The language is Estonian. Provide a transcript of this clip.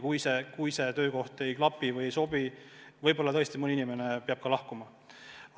Kui see töökoht ei sobi, siis ehk tõesti mõni inimene peab lahkuma.